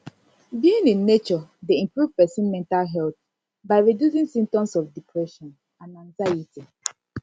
being in nature dey improve pesin mental health by reducing symptoms of depression and anxiety